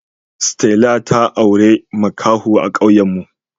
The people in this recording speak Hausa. Stella ta aure makaho a kawuen me